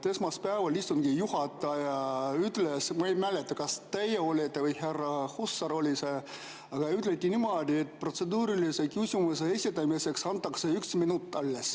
Esmaspäeval istungi juhataja – ma ei mäleta, kas see olite teie või oli see härra Hussar – ütles niimoodi, et protseduurilise küsimuse esitamiseks antakse üks minut.